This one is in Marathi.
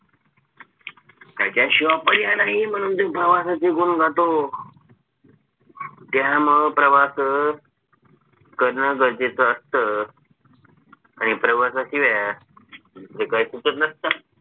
त्याच्याशिवाय पर्याय नाही म्हणून तो प्रवासाचे गुण गातो त्यामुळं प्रवास करण गरजेचं असतं आणि प्रवासाशिवाय दुसरं काही सुचत नसतं